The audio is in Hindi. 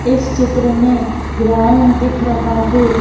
इस चित्र में ग्राउंड दिख रहा है।